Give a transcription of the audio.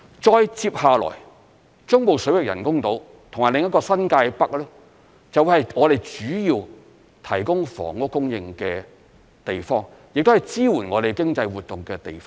再接下來，中部水域人工島及新界北發展就會是我們主要提供房屋供應的地方，亦是支援我們經濟活動的地方。